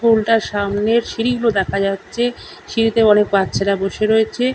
টুলটার সামনের সিঁড়িগুলো দেখা যাচ্ছে সিঁড়িতে অনেক বাচ্চারা বসে রয়েছে।